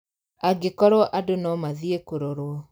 Angĩkorwo andũ no mathiĩ kurorwo